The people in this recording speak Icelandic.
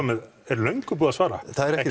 með er löngu búið að svara það er